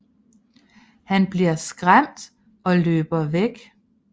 Han bliver skræmt og løber væk